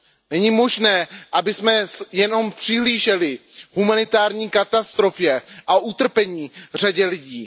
Není možné, abychom jen přihlíželi humanitární katastrofě a utrpení řadě lidí.